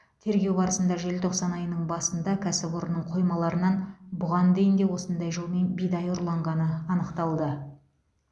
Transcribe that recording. тергеу барысында желтоқсан айының басында кәсіпорынның қоймаларынан бұған дейін де осындай жолмен бидай ұрланғаны анықталды